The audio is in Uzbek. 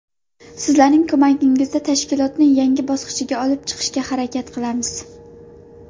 Sizlarning ko‘magingizda tashkilotni yangi bosqichga olib chiqishga harakat qilamiz.